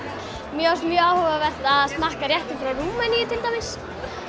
mér fannst mjög áhugavert að smakka réttinn frá Rúmeníu til dæmis